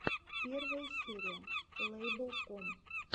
первая серия лэйбл ком